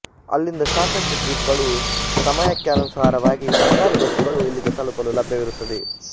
ಅಲ್ಲಿಂದ ಸಾಕಷ್ಟು ಜೀಪ್ ಗಳುಸಮಯಕ್ಕೆನುಸಾರವಾಗಿ ಸರಕಾರಿ ಬಸ್ಸುಗಳು ಇಲ್ಲಿಗೆ ತಲುಪಲು ಲಭ್ಯವಿರುತ್ತವೆ